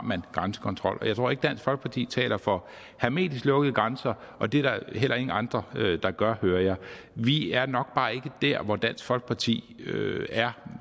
grænsekontrol jeg tror ikke at dansk folkeparti taler for hermetisk lukkede grænser og det er heller ingen andre der gør hører jeg vi er nok bare ikke der hvor dansk folkeparti er